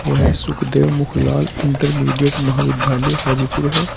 यह सुखदेव मुख लाल इंटरमीडिएट महाविद्यालय हाजीपुर है।